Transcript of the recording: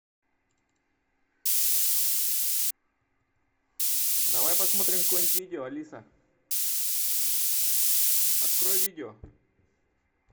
давай посмотрим какое нибудь видео алиса открой видео